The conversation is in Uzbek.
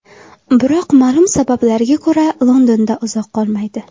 Biroq ma’lum sabablarga ko‘ra Londonda uzoq qolmaydi.